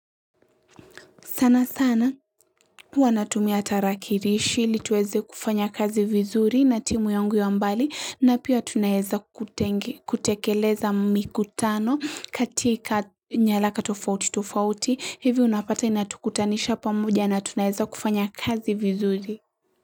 Sana sana huwa natumia tarakilishi hili tuweze kufanya kazi vizuri na timu yangu ya mbali na pia tunaeza kutekeleza mikutano katika nyaraka tofauti tofauti hivi unapata inatukutanisha pamoja na tunaeza kufanya kazi vizuri.